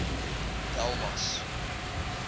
delmas